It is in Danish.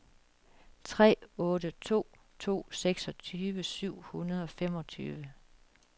tre otte to to seksogtyve syv hundrede og femogtyve